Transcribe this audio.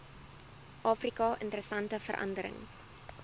afrika interessante veranderings